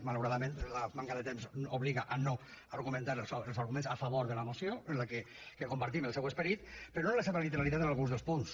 malauradament la manca de temps obliga a no argumentar els arguments a favor de la moció que en compartim el seu esperit però no la seva literalitat en alguns dels punts